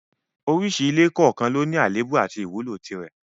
Oríṣi ilé kọ̀ọ̀kan ló ní àléébù àti ìwúlò rẹ̀